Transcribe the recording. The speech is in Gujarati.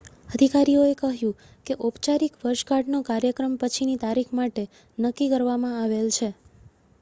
અધિકારીઓએ કહ્યું કે ઔપચારિક વર્ષગાંઠનો કાર્યક્રમ પછીની તારીખ માટે નક્કી કરવામાં આવેલ છે